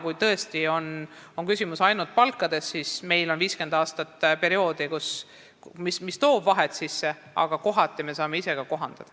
Kui küsimus on tõesti ainult palkades, siis meil on olnud 50-aastane periood, mis on vahed sisse toonud, aga kohati me saame ise ka asju kohandada.